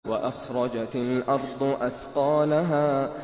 وَأَخْرَجَتِ الْأَرْضُ أَثْقَالَهَا